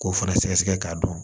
K'o fana sɛgɛsɛgɛ k'a dɔn